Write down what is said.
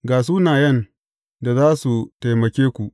Ga sunayen da za su taimake ku.